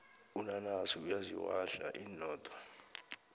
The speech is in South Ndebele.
unanasi uyaziwahla inodo